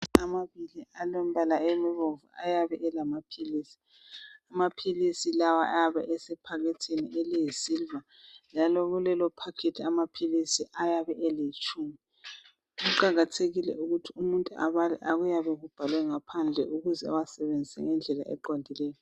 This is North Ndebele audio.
Amabili alombala obomvu ayabe elamaphilisi. Amaphilisi lawa ayabe esephakethini eliyisiliva njalo amaphilisi ayabe eletshubhu. Kuqakathekile ukuthi umuntu abale okubhalwe phandle ukuze asebenzise lamaphilisi ngendlela eqondileyo.